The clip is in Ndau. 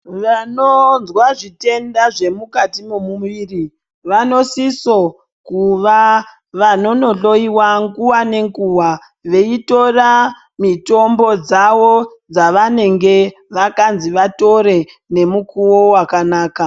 Vanozwa zvitenda zvemukati memuviri vanosiso kuva vanonodoiva nguva nguva nenguva veitora mitombo dzavo dzavanenge vakanzi vatore nemikuvo vakanaka.